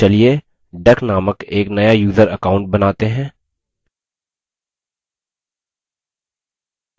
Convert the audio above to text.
चलिए duck named एक नया यूज़र account बनाते हैं